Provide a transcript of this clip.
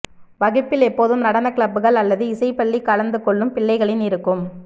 வகுப்பில் எப்போதும் நடன கிளப்கள் அல்லது இசை பள்ளி கலந்துகொள்ளும் பிள்ளைகளின் இருக்கும்